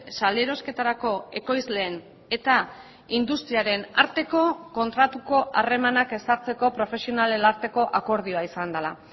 salerosketarako ekoizleen eta industriaren arteko kontratuko harremanak ezartzeko profesionalen arteko akordioa izan dela